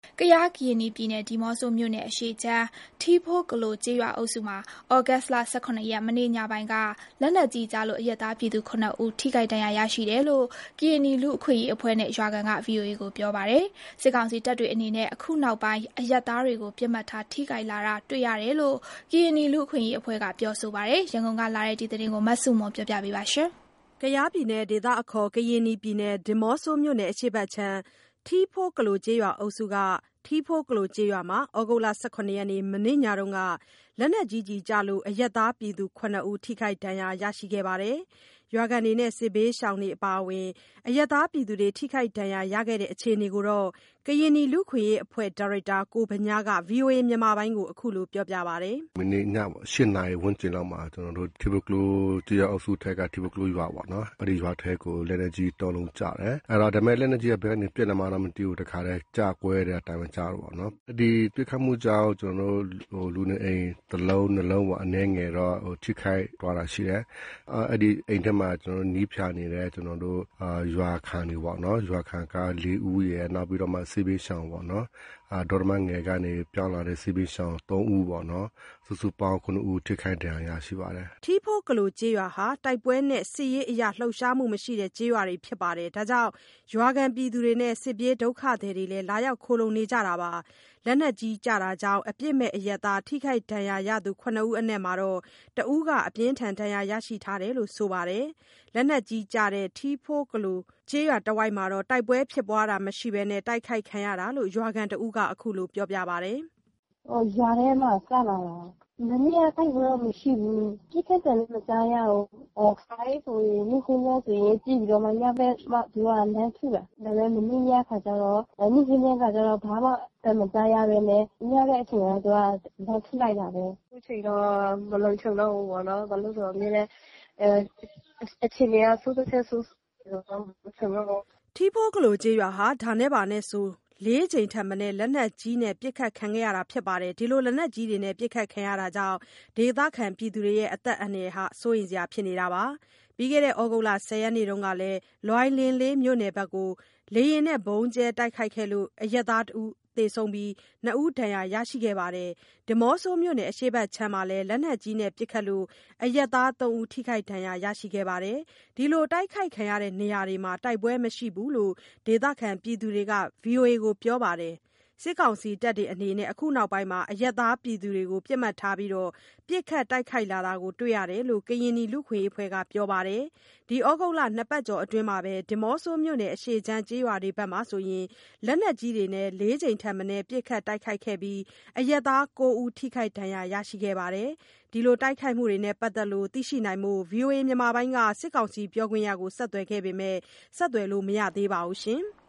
ကယား (ကရင်နီ) ပြည်နယ် ဒီးမော့ဆိုနယ်အရှေ့ခြမ်း ထီးဖိုးကလို ကျေးရွာအုပ်စုမှာ သြဂုတ်လ ၁၇ ရက် မနေ့ညပိုင်းက လက်နက်ကြီးကျလို့ အရပ်သားပြည်သူ ၇ ဦး ထိခိုက်ဒဏ်ရာရရှိတယ်လို့ ကရင်နီလူ့အခွင့်အရေးအဖွဲ့နဲ့ ရွာခံတချို့က VOA ကို ပြောပါတယ်။ စစ်ကောင်စီတပ်တွေအနေနဲ့ အခုနောက်ပိုင်း အရပ်သားတွေကို ပစ်မှတ်ထား တိုက်ခိုက်လာတာ တွေ့ရတယ်လို့ ကရင်နီလူ့အခွင့်အရေးအဖွဲ့က ပြောဆိုပါတယ်။ ရန်ကုန်ကလာတဲ့သတင်းကို မဆုမွန်က တင်ပြပေးထားပါတယ်။ ဒီးမော့ဆိုမြို့နယ် အရှေ့ဘက်ခြမ်း ထီးဖိုးကလိုကျေးရွာအုပ်စု၊ ထီးဖိုးကလိုကျေးရွာမှာ သြဂုတ်လ ၁၇ ရက် မနေ့ညက လက်နက်ကြီးကျလို့ အရပ်သားပြည်သူ ၇ ဦး ထိခိုက်ဒဏ်ရာရရှိတယ်လို့ ကရင်နီလူ့အခွင့်အရေးအဖွ့ဲ ဒါရိုက်တာ ကိုဗညားက VOA ကို ပြောပါတယ်။ “မနေ့ညပေါ့ ၈ နာရီဝန်းကျင်လောက်မှာ ကျနော်တို့ ထီးဖိုးကလိုကျေးရွာအုပ်စုထဲက ထီးဖိုးကလိုရွာပေါ့နော်၊ အဲ့ဒီရွာထဲကို လက်နက်ကြီး ၃ လုံးကျတယ်။ အဲ့တော့ လက်နက်ကြီးက ဘယ်ကနေပစ်လာမှန်းတော့ မသိဘူး၊ တခါတည်းကျကွဲ အသံပဲကြားတယ်ပေါ့နော်။ အဲ့ဒီပစ်ခတ်မှုကြောင့် ကျနော်တို့ လူနေအိမ်တလုံး နှစ်လုံးပေါ့ အနည်းငယ်တော့ ထိခိုက်သွားတာရှိတယ်။ အဲ့ဒီအိမ်ထဲမှာ နှီးဖျာနေတဲ့ ရွာခံတွေပေါ့နော်၊ ရွာခံက ၄ ဦးရယ်၊ နောက်ပြီးတော့မှ စစ်ဘေးရှောင်ပေါ့နော် သော်တမငယ်ကနေပြောင်းလာတဲ့ စစ်ဘေးရှောင် ၃ ဦးပေါ့နော် စုစုပေါင်း ၇ ဦးထိခိုက်ဒဏ်ရာရရှိပါတယ်။” ထီးဖိုကလိုးကျေးရွာဟာ တိုက်ပွဲနဲ့ စစ်ရေးအရလှုပ်ရှားမှုမရှိတဲ့ ကျေးရွာတွေဖြစ်ပြီး ရွာခံတွေနဲ့အတူ စစ်ပြေး ဒုက္ခသည်တွေလည်း လာရောက်ခိုလှုံ နေကြတာပါ။ လက်နက်ကြီးကြောင့် အပစ်မဲ့အရပ်သား ထိခိုက်ဒဏ်ရာရရှိသူ ၇ ဦးအနက် တဦးက ပြင်းထန်စွာ ဒဏ်ရာရရှိထားတယ်လို့ ဆိုပါတယ်။ လက်နက်ကြီးကျတဲ့ ထီးဖိုးကလိုကျေးရွာတဝိုက်မှာ တိုက်ပွဲဖြစ်ပွားတာမရှိဘဲနဲ့ တိုက်ခိုက်ခံရတာလို့ ရွာခံတဦးက အခုလို ပြောပါတယ်။ “(လက်နက်ကြီး) ရွာထဲမှာကျလာတာ၊ မနေ့က တိုက်ပွဲတော့ မရှိဘူး။ ပစ်ခတ်သံလည်းမကြားရဘူး။ ခါတိုင်းဆိုရင် နေ့ခင်းပိုင်းဆိုရင် ပစ်ပြီးတော့မှ ညဘက်မှ သူတို့ကလှမ်းထုတာ၊ ဒါပေမယ့် မနေ့ညခါကျတော့ နေ့ခင်းပိုင်းက ဘာမှအသံမကြားရဘဲနဲ့ ညဘက်အချိန်က သူက လှမ်းထုလိုက်တာပဲ။ အခုချိန်တော့ မလုံခြုံတော့ဘူးပေါ့နော် ဘာလို့လဲဆိုတော့ အမြဲတမ်း အခြေအနေက ဆိုးတာထက် ဆိုးဆိုးသွားတော့ မလုံခြုံတော့ဘူး။” ထီးဖိုးကလိုကျေးရွာဟာ ဒါနဲ့ဆို ၄ ကြိမ်ထက်မနည်း လက်နက်ကြီးနဲ့ ပစ်ခတ်ခံရတာကြောင့် ဒေသခံတွေက အသက်အန္တရာယ်စိုးရိမ်နေကြပါတယ်။ ပြီးခဲ့တဲ့ သြဂုတ် ၁၀ ရက်နေ့တုန်းကလည်း လွိုင်လင်းလေးမြို့နယ်ဘက် လေယာဉ်နဲ့ ဗုံးကျဲတိုက်ခိုက်ခံလို့ အရပ်သား တဦးသေဆုံး၊ ၂ ဦးဒဏ်ရရှိပြီး ဒီးမော့ဆိုမြို့နယ် အရှေ့ဘက်ခြမ်းမှာလည်း လက်နက်ကြီးနဲ့ ပစ်ခတ်လို့ အရပ်သား ၃ ဦး ထိခိုက်ဒဏ်ရာရရှိသွားပါတယ်။ ဒီလို တိုက်ခိုက်ခံရတဲ့ နေရာတွေမှာ တိုက်ပွဲမရှိဘူးလို့ ဒေသခံတွေက VOA ကို ပြောပါတယ်။ စစ်ကောင်စီတပ်တွေအနေနဲ့ အခုနောက်ပိုင်း အရပ်သားပြည်သူတွေကို ပစ်မှတ်ထား ပစ်ခတ်တိုက်ခိုက်လာတာ တွေ့ရတယ်လို့ ကရင်နီလူ့အခွင့်အရေးအဖွဲ့က ပြောပါတယ်။ ဒီသြဂုတ်လ နှစ်ပတ်ကျော်အတွင်း ဒီးမော့ဆိုမြို့နယ် အရှေ့ခြမ်း ကျေးရွာတွေဘက်ဆိုရင် လက်နက်ကြီးတွေနဲ့ ၄ ကြိမ်ထက်မနည်း ပစ်ခတ်တိုက်ခိုက်ခံရပြီး အရပ်သား ၉ ဦး ထိခိုက်ဒဏ်ရာရရှိခဲ့တယ်လို့ ဆိုပါတယ်။ ဒီတိုက်ခိုက်မှုနဲ့ ပတ်သက်လို့ သိရှိနိုင်ဖို့ ဗွီအိုအေက စစ်ကောင်စီ ပြောခွင့်ရကို ဆက်သွယ်ပေမယ့် ဆက်သွယ်လို့ မရသေးပါဘူး။